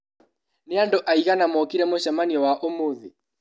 Nĩandũ aigana mokire mũcemanio wa ũmũthĩ?